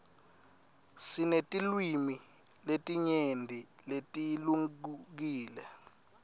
sinetilwimi letinyenti letihlukile